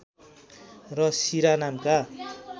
र शिरा नामका